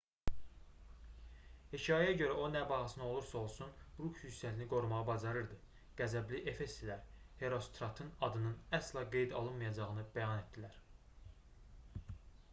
hekayəyə görə o nə bahasına olursa olsun ruh yüksəkliyini qorumağı bacarırdı qəzəbli efeslilər herostratın adının əsla qeydə alınmayacağını bəyan etdilər